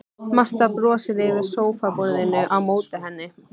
Marta brosir yfir sófaborðinu á móti henni.